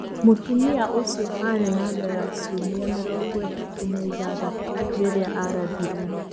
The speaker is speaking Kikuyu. Mũtumia ũcio aarĩ na nda ya ciumia mĩrongo ĩtatũ na ithathatũ rĩrĩa ararathiruo.